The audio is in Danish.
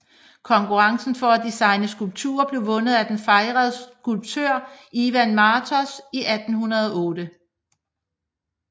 Konkurrencen for at designe skulpturen blev vundet af den fejrede skulptør Ivan Martos i 1808